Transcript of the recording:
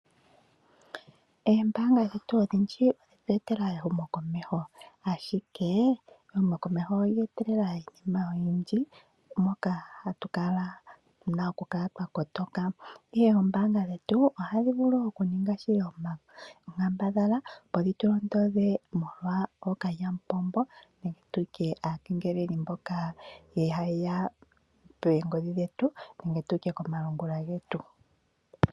Oombaanga dhetu odhindji odhe etelela ehumokomeho, ashike ehumokomeho olye etelela iinima oyindji moka tu na okukala twa kotoka, ihe oombaanga dhetu ohadhi vulu okuninga shili oonkambadhala, opo dhi tu londodhe molwa ookalyamupombo nenge tu tye aakengeleli mboka haye ya poongodhi dhetu nenge tu tye komalungula getu.